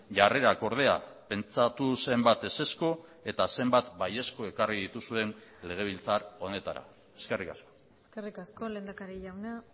jarrerak ordea pentsatu zenbat ezezko eta zenbat baiezko ekarri dituzuen legebiltzar honetara eskerrik asko eskerrik asko lehendakari jauna